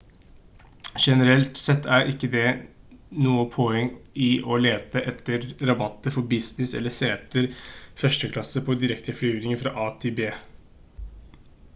generelt sett er det ikke noe poeng i å lete etter rabatter for business eller seter første klasse på direkteflyvninger fra a til b